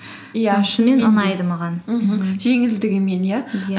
иә шынымен жеңілдігімен иә иә